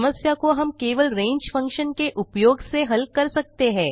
समस्या को हम केवल range फंक्शन के उपयोग से हल कर सकते हैं